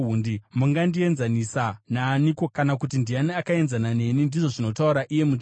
“Mungandienzanisa naaniko? Kana kuti ndiani akaenzana neni?” ndizvo zvinotaura Iye Mutsvene.